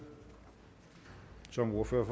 som ordfører